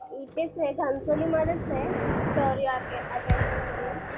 इथेच आहे घणसोलीमध्येच आहे. ऍकेडमी म्हणून